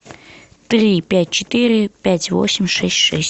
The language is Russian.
три пять четыре пять восемь шесть шесть